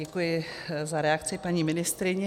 Děkuji za reakci paní ministryni.